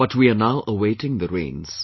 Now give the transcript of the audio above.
But, we are now awaiting the rains